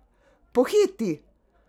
Pohiti!